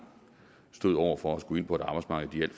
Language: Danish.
stod over for at skulle ind på et arbejdsmarked